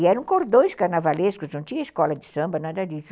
E eram cordões carnavalescos, não tinha escola de samba, nada disso.